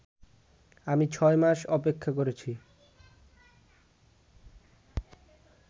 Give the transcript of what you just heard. আমি ছয় মাস অপেক্ষা করেছি